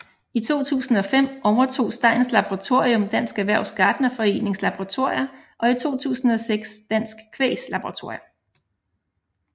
I 2005 overtog Steins Laboratorium Dansk Erhvervs Gartnerforenings Laboratorier og i 2006 Dansk Kvægs laboratorier